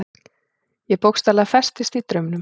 Ég bókstaflega festist í draumnum.